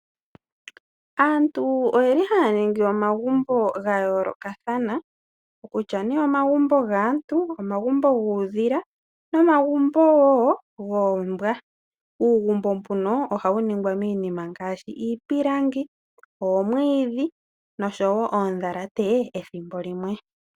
Aantu oye li haya ningi omagumbo ga yoolokathana okutya ne omagumbo gaantu, omagumbo guudhila nomagumbo wo guumbwa, uugumbo mbuno ohawu ningwa miinima ngaashi iipalangi, omwiidhi noshowo oodhalate ethimbo limwe.